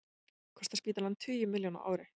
Kostar spítalann tugi milljóna á ári